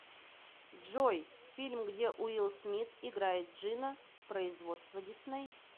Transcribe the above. джой фильм где уилл смит играет джинна производство дисней